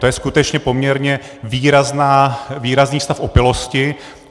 To je skutečně poměrně výrazný stav opilosti.